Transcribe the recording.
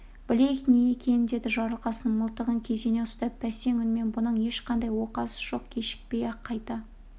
білейік не екенін деді жарылқасын мылтығын кезене ұстап бәсең үнмен бұның ешқандай оқасы жоқ кешікпей-ақ қайта